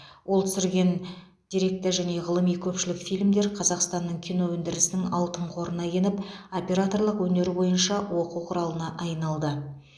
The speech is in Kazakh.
ол түсірген деректі және ғылыми көпшілік фильмдер қазақстанның кино өндірісінің алтын қорына еніп операторлық өнер бойынша оқу құралына айналды